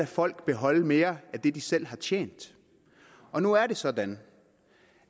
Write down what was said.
folk beholde mere af det de selv har tjent og nu er det sådan